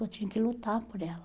Eu tinha que lutar por ela.